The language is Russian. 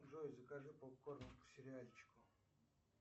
джой закажи попкорн к сериальчику